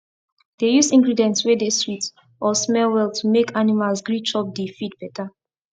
dey use ingredients wey dey sweet or smell well to make animals gree chop di feed better